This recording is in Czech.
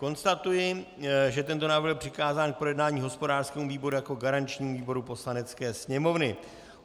Konstatuji, že tento návrh byl přikázán k projednání hospodářskému výboru jako garančnímu výboru Poslanecké sněmovny.